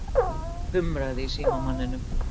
Það kumraði í símamanninum.